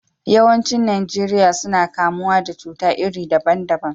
Yawancin Najeriya suna kamuwa da cuta iri daban daban.